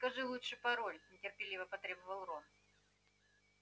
скажи лучше пароль нетерпеливо потребовал рон